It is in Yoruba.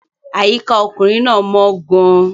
Àyíká ọkùnrin náà mọ́ gan-an.